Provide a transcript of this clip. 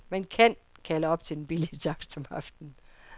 Man kan kalde op til den billige takst om aftenen.